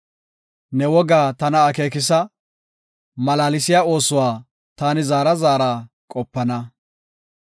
Ne wogaa tana akeekisa; malaalsiya oosuwa taani zaara zaarada qopana.